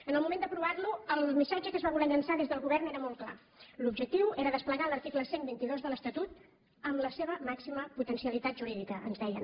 en el moment d’aprovar lo el missatge que es va voler llançar des del govern era molt clar l’objectiu era desplegar l’article cent i vint dos de l’estatut amb la seva màxima potencialitat jurídica ens deien